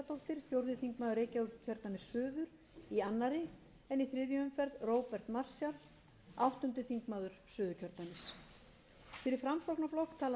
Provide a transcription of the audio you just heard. í annað en í þriðju umferð róbert marshall áttundi þingmaður suðurkjördæmis fyrir framsóknarflokk tala sigmundur davíð gunnlaugsson